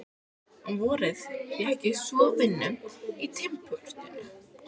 Um vorið fékk ég svo vinnu í timburportinu.